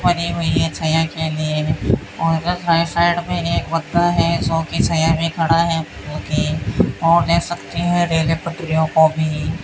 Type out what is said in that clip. बनी हुई है के लिए और इधर साइड साइड में एक में खड़ा है जो कि और देख सकते हैं रेल की पटरियों को भी।